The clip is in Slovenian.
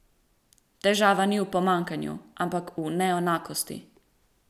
Težava ni v pomanjkanju, ampak v neenakosti!